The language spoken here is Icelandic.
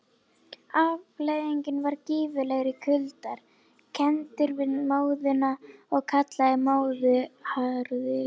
Afleiðingin var gífurlegir kuldar, kenndir við móðuna og kallaðir móðuharðindi.